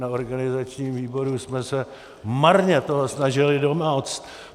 Na organizačním výboru jsme se marně toho snažili domoct.